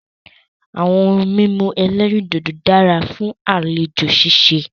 Àwọn ohun mímu ẹ̀lẹ́rìndodò dára fún àlejò ṣíṣe.